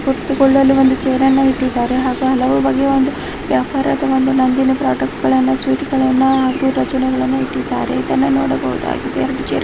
ಕುತ್ತು ಕೊಳ್ಳಲು ಒಂದು ಚೇರ್ ಅನ್ನು ಇಟ್ಟಿದಾರೆ ಹಾಗು ಹಲವು ಬಗೆಯ ಒಂದು ವ್ಯಪಾರದ ಒಂದು ನಂದಿನಿ ಪ್ರಾಡಕ್ಟಗಲ್ಲನ್ನ ಸ್ವೀಟ ಗಲ್ಲನ್ನಾ ಹಾಗು ರಚನಾ ಗಲ್ಲನು ಇಟ್ಟಿದ್ದರೆ. ಇದನ್ನ ನೋಡ ಬಹುದಾಗಿದೆ ಹಲವು ಚೇರಗಳಿವೆ.